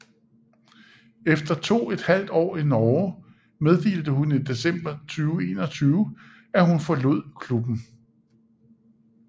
Efter to et halvt år i Norge meddelte hun i december 2021 at hun forlod klubben